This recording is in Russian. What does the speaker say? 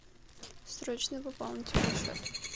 срочно пополните мой счет